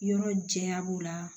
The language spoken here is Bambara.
Yɔrɔ janya b'o la